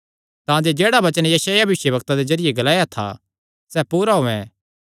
तांजे जेह्ड़ा वचन यशायाह भविष्यवक्ता दे जरिये ग्लाया था सैह़ पूरा होयैं